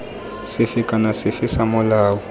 sefe kana sefe sa molao